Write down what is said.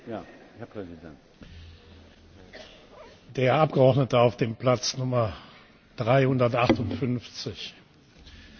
Der Abgeordnete auf dem Platz Nummer 358 hat sich jetzt gerade die Maske von Frau Merkel aufgesetzt.